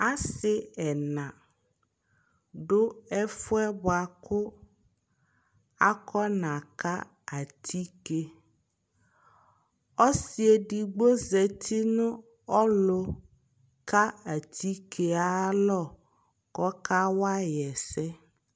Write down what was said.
asii ɛna dʋ ɛƒʋɛ bʋakʋ akɔna ka atikè, ɔsii ɛdigbɔ zati nʋ ɔlʋ ka atikè ayi alɔ kʋ ɔka wayi ɛsɛ